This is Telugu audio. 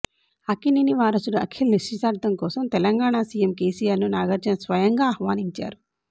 అక్కినేని వారసుడు అఖిల్ నిశ్చితార్థం కోసం తెలంగాణా సీఎం కేసీఆర్ ను నాగార్జున స్వయంగా ఆహ్వానించారు